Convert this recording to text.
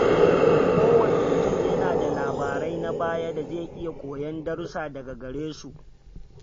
Kowane mutum yana da labarai na baya da zai iya koyar darussa daga gare su.